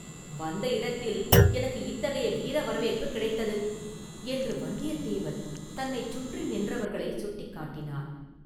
வந்த இடத்தில் எனக்கு இத்தகைய வீர வரவேற்புக் கிடைத்தது” என்று வந்தியத்தேவன் தன்னைச் சுற்றி நின்றவர்களை சுட்டிக்காட்டினான்.